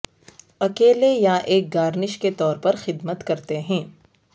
اکیلے یا ایک گارنش کے طور پر خدمت کرتے ہیں